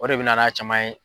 O de bɛ na n'a caman ye.